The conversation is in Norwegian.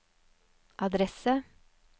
adresse